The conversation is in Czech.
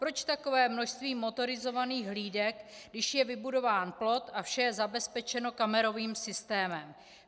Proč takové množství motorizovaných hlídek, když je vybudován plot a vše je zabezpečeno kamerových systémem?